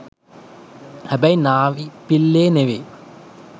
හැබැයි නාවි පිල්ලේ නෙවේ